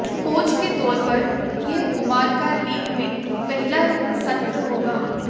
coach के तौर पर यह कुमार का लीग में पहला सत्र होगा